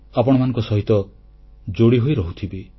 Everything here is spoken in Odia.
ଆପଣମାନଙ୍କ ସହିତ ଯୋଡ଼ି ହୋଇ ରହୁଥିବି